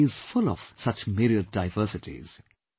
Our country is full of such myriad diversities